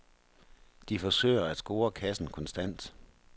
De forsøger at score kassen konstant.